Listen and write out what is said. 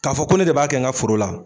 K'a fɔ ko ne de b'a kɛ n ka foro la